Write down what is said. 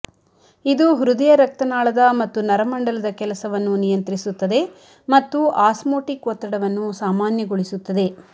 ಇದು ಹೃದಯರಕ್ತನಾಳದ ಮತ್ತು ನರಮಂಡಲದ ಕೆಲಸವನ್ನು ನಿಯಂತ್ರಿಸುತ್ತದೆ ಮತ್ತು ಆಸ್ಮೋಟಿಕ್ ಒತ್ತಡವನ್ನು ಸಾಮಾನ್ಯಗೊಳಿಸುತ್ತದೆ